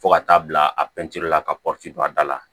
Fo ka taa bila a la ka don a da la